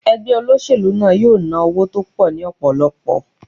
Ẹgbẹ́ olóṣèlú náà yóò ná owó tó pọ̀ ní ọ̀pọ̀lọpọ̀.